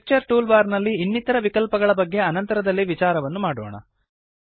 picture tool bar ನಲ್ಲಿನ ಇನ್ನಿತರ ವಿಕಲ್ಪಗಳ ಬಗ್ಗೆ ಅನಂತರದಲ್ಲಿ ವಿಚಾರವನ್ನು ಮಾಡೋಣ